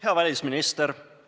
Hea välisminister!